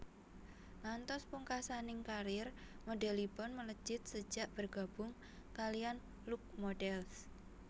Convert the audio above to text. Ngantos pungkasaning karier modelipun melejit sejak bergabung kaliyan Look Models